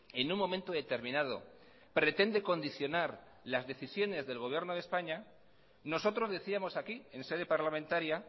en un momento determinado pretende condicionar las decisiones del gobierno de españa nosotros decíamos aquí en sede parlamentaria